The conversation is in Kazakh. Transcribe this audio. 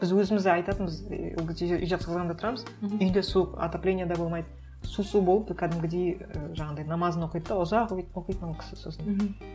біз өзіміз айтатынбыз і ол кезде жезқазғанда тұрамыз үй де суық отопление де болмайды су су болып кәдімгідей і жаңағындай намазын оқиды да ұзақ оқитын ол кісі сосын мхм